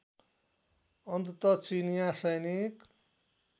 अन्तत चिनीया सैनिक